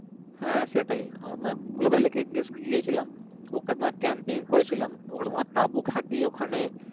হ্যাঁ, সেটাই গেছিলাম ওখানে করেছিলাম ওখানে ও ওখেন তাবু খাটিয়ে ওখানে